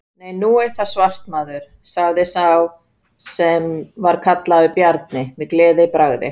Nei, nú er það svart maður, sagði sá sem var kallaður Bjarni, með gleðibragði.